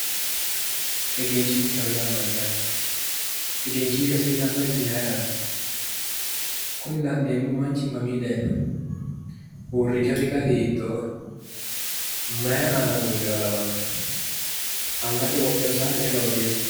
Egenshiishshaho yaa mayyaate? egenshiishshu hasiisannohu isi maayiiraati? kuni la'neemmo manchi mamii daayiinohu? uurinshasi gari hiittooho? maayi aana uurreha lawannoe? angate wodhewo saate ayi loosewoote.